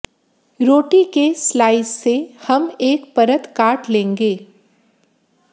रोटी के स्लाइस से हम एक परत काट लेंगे